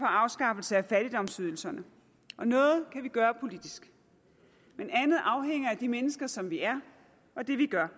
afskaffelse af fattigdomsydelserne noget kan vi gøre politisk men andet afhænger af de mennesker som vi er og det vi gør